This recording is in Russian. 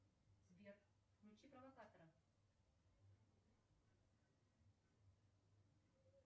сбер включи провокатора